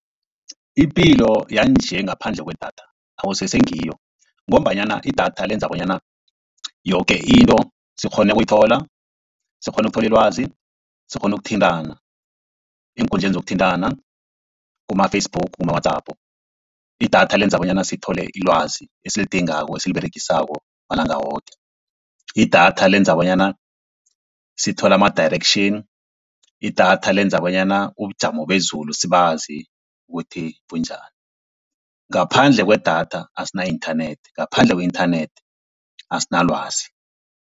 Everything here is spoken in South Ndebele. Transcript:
Ipilo yanje ngaphandle kwedatha akusese ngiyo, ngombanyana idatha lenza bonyana yoke into sikghone ukuyithola, sikghone ukuthola ilwazi, sikghone ukuthintana eenkundleni zokuthintana kuma-Facebook, kuma-WhatsApp. Idatha lenza bonyana sithole ilwazi esilidingako esiliberegisako malanga woke. Idatha lenza bonyana sithole ama-direction, idatha lenza bonyana ubujamo bezulu sibazi ukuthi bunjani. Ngaphandle kwedatha asina internet ngaphandle kwe-internet asina lwazi.